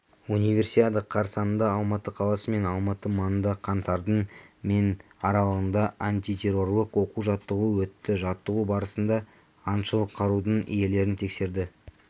универсиада қарсаңында алматы қаласы мен алматы маңында қаңтардың мен аралығында антитеррорлық оқу-жаттығу өтті жаттығу барасында аңшылық қарудың иелерін тексерді